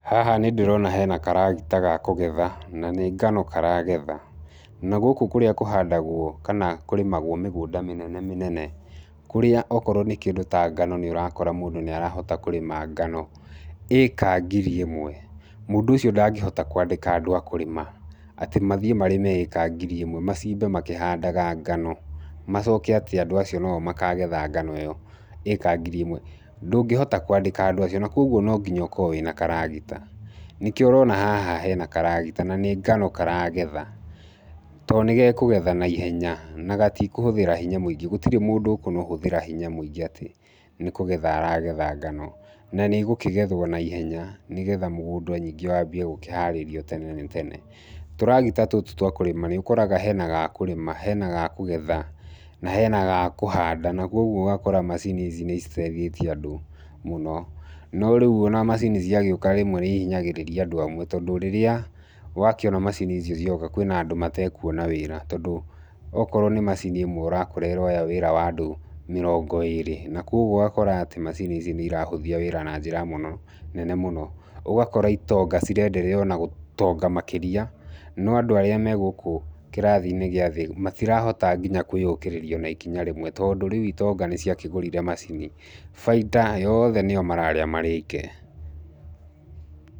Haha nĩ ndĩrona hena karagita ga kũgetha, na nĩ ngano karagetha. Na gũkũ kũrĩa kũhandagwo, kana kũrĩmagwo mĩgũnda mĩnene mĩnene, kũrĩa okorwo nĩ kĩndũ ta ngano nĩ ũrakora mũndũ nĩ arahota kũrĩma ngano, ĩka ngiri ĩmwe, mũndũ ũcio ndangĩhota kwandĩka andũ a kũrĩma. Atĩ mathiĩ marĩme ĩka ngiri ĩmwe. Macimbe makĩhandaga ngano, macoke atĩ andũ acio no o makagetha ngano ĩyo ĩka ngiri ĩmwe. Ndũngĩhota kwandĩka andũ acio. Na kũguo no nginya ũkorwo wĩna karagita. Nĩkĩo ũrona haha hena karagita, na nĩ ngano karagetha. To nĩ gekũgetha naihenya, na gatikũhũthĩra hinya mũingĩ, gũtirĩ mũndũ ũkũhũthĩra hinya mũingĩ atĩ nĩ kũgetha aragetha ngano. Na nĩ igũkĩgethwo naihenya nĩgetha mũgũnda ningĩ wambie gũkĩharĩrio tene nĩ tene. Tũragita tũtũ twa kũrĩma nĩ ũkoraga hena ga kũrĩma, hena ga kũgetha, na hena ga kũhanda. Na kũguo ũgakora macini ici nĩ citeithĩtie andũ mũno. No rĩu ona macini ciagĩũka rĩmwe nĩ ihinyagĩrĩria andũ amwe tondũ rĩrĩa wakĩona macini icio cioka kwĩna andũ matekuona wĩra. Tondũ okorwo nĩ macini ĩmwe, ũrakora ĩroya wĩra wa andũ mĩrongo ĩĩrĩ. Na kũguo ũgakora atĩ macini ici nĩ irahũthia wĩra na njĩra ya mũno, nene mũno. Ũgakora itonga cirenderea ona gũtonga makĩria, no andũ arĩa me gũkũ kĩrathi-inĩ gĩa thĩ, matirahota nginya kwĩyũkĩrĩria ona nginya ikinya rĩmwe. Tondũ rĩu itonga nĩ ciakĩgũrire macini. Baita yothe nĩo mararĩa marĩ oike.